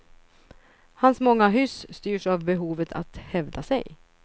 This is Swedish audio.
Hans många hyss styrs av behovet att hävda sig.